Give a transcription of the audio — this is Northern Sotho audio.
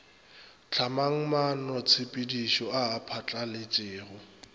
hlamang maanotshepedišo a a phatlaletšego